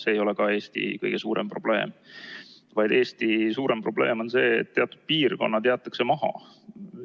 See ei ole Eesti kõige suurem probleem, vaid Eesti suurem probleem on see, et teatud piirkonnad jäetakse maha.